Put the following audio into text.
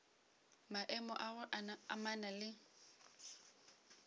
maemo a go amana le